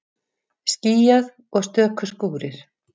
Skýjað og stöku skúrir